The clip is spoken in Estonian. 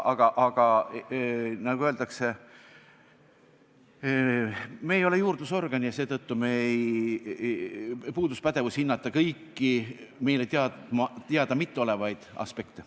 Aga, nagu öeldakse, me ei ole juurdlusorgan ja seetõttu puudus meil pädevus hinnata kõiki meile mitte teada olevaid aspekte.